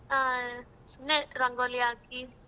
ಆ ಸುಮ್ನೆ ರಂಗೋಲಿ ಹಾಕಿ.